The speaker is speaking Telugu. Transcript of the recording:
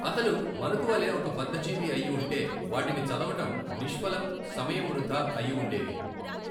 అతను మనకు వలె ఒక బధ్ధజీవి అయిఉంటే వాటిని చదవడం నిష్ఫలం సమయం వృధా అయివుండేవి.